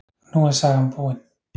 Nú er sagan búin.